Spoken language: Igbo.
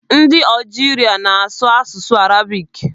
Ndị Algeria na-asụ asụsụ Arabic.